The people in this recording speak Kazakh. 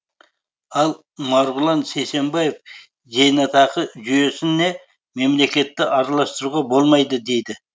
ал марғұлан сейсембаев зейнетақы жүйесіне мемлекетті араластыруға болмайды дейді